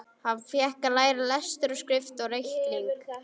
Hann fékk að læra lestur og skrift og reikning.